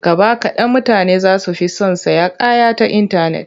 Gaba kaɗan mutane za su fi son sayan kaya ta intanet.